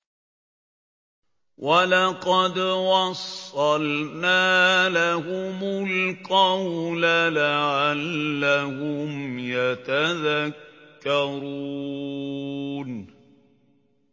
۞ وَلَقَدْ وَصَّلْنَا لَهُمُ الْقَوْلَ لَعَلَّهُمْ يَتَذَكَّرُونَ